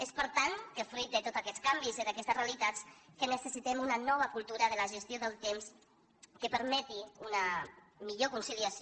és per tant que fruit de tots aquests canvis i d’aquestes realitats necessitem una nova cultura de la gestió del temps que permeti una millor conciliació